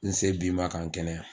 N se bi ma ka n kɛnɛya